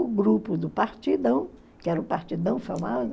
O grupo do Partidão, que era o Partidão